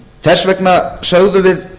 þess vegna sögðum við